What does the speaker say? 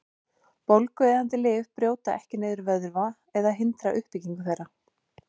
Bólgueyðandi lyf brjóta ekki niður vöðva eða hindra uppbyggingu þeirra.